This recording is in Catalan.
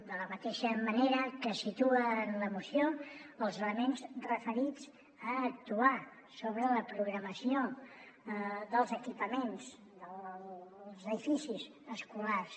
de la mateixa manera que es situa en la moció els elements referits a actuar sobre la programació dels equipaments dels edificis escolars